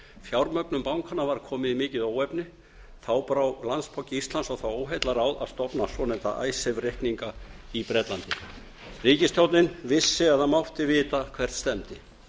fjármögnun bankanna var komin í mikið óefni þá brá landsbanki íslands á það óheillaráð að stofna svonefnda icesave reikninga í bretlandi ríkisstjórnin vissi eða mátti vita hvert stefndi